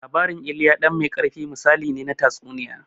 Labarin "Ilya ɗan mai ƙarfi", misali ne na tatsuniya.